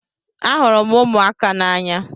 Ahụrụ m ụmụaka n'anya.